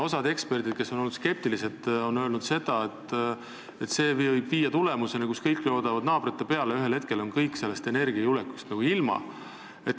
Osa eksperte, kes on olnud skeptilised, on öelnud, et see võib viia olukorda, kus kõik loodavad naabrite peale ja ühel hetkel on kõik energiajulgeolekust ilma.